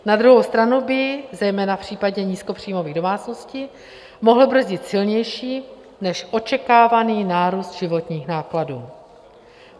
Na druhou stranu by zejména v případě nízkopříjmových domácností mohl brzdit silnější než očekávaný nárůst životních nákladů.